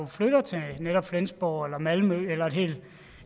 flytter til flensborg eller malmø